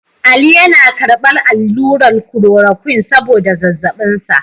Ali yana karbar allurar kulorokwin saboda zazzabin sa.